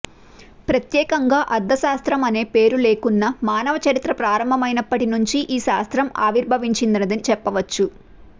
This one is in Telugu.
ప్రత్యేకంగా అర్థ శాస్త్రము అనే పేరు లేకున్నా మానవ చరిత్ర ప్రారంభమైనప్పటి నుంచే ఈ శాస్త్రం ఆవిర్భవించినదిని చెప్పవచ్చు